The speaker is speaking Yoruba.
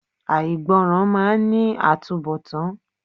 Àìgbọràn máà ń ní àtúnbọ̀tán.